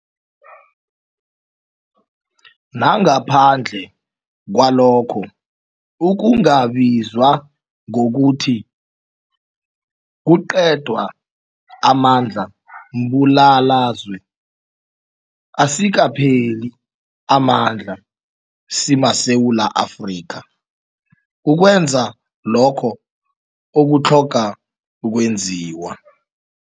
Nangaphandle kwalokho okungabizwa ngokuthi, kuqedwa amandla mbulalazwe, asikapheli amandla simaSewula Afrika ukwenza lokho okutlhoga ukwenziwa.